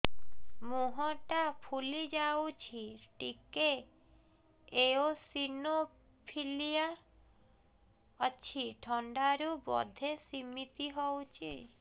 ମୁହଁ ଟା ଫୁଲି ଯାଉଛି ଟିକେ ଏଓସିନୋଫିଲିଆ ଅଛି ଥଣ୍ଡା ରୁ ବଧେ ସିମିତି ହଉଚି